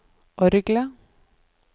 orgelet